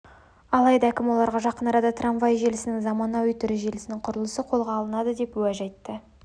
алайда әкім оларға жақын арада трамвай желісінің заманауи түрі желісінің құрылысы қолға алынады деп уәж айтты